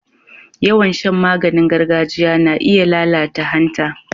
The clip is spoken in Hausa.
Yawan shan maganing gargajiya na iya lalata hanta.